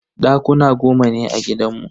Dakuna goma ne a gidanmu.